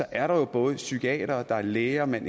er der jo både psykiatere og læger man